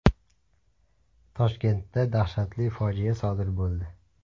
Toshkentda dahshatli fojia sodir bo‘ldi.